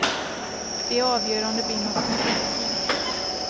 De avgör om det blir något nytt parti.